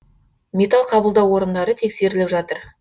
металл қабылдау орындары тексеріліп жатыр